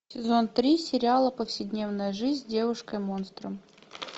сезон три сериала повседневная жизнь с девушкой монстром